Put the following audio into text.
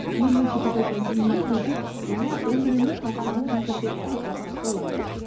елуінші эпизодтан кейінгі біздің жаңа өміріміз басталып жатыр деп айтсақ та болады